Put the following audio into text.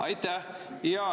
Aitäh!